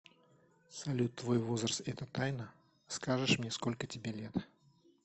салют твой возраст это тайна скажешь мне сколько тебе лет